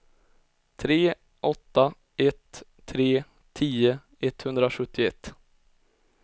tre åtta ett tre tio etthundrasjuttioett